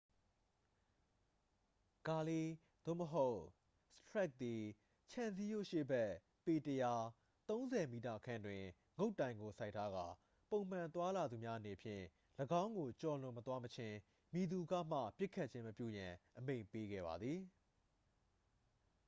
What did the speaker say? ဂါလီး သို့မဟုတ် စတရက်ခ် သည် ခြံစည်းရိုးရှေ့ဘက် ပေ ၁၀၀ ၃၀ m ခန့်တွင် ငုတ်တိုင်ကို စိုက်ထားကာ ပုံမှန်သွားလာသူများအနေဖြင့် ၎င်းကိုကျော်လွန်မသွားမချင်း မည်သူကမှ ပစ်ခတ်ခြင်းမပြုရန် အမိန့်ပေးခဲ့ပါသည်။